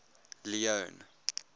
leone